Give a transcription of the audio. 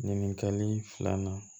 Ɲininkali filanan